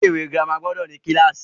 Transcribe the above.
Ilé ìwé girama gbọdọ̀ ní kílàsì.